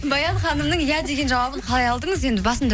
баян ханымның иә деген жауабын қалай алдыңыз енді басында